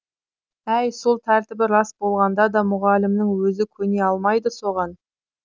әй сол тәртібі рас болғанда да мұғалімнің өзі көне алмайды соған